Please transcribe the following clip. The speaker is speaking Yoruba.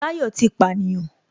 Táyọ̀ ti pànìyàn